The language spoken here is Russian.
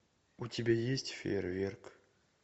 у тебя есть фейерверк